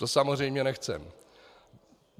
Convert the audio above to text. To samozřejmě nechceme.